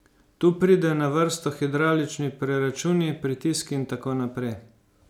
Tu pridejo na vrsto hidravlični preračuni, pritiski in tako naprej.